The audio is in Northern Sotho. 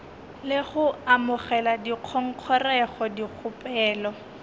le go amogela dingongorego dikgopelo